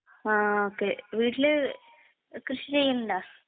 ആ, ഓക്കേ . വീട്ടില് കൃഷി ചെയ്യണുണ്ടാ...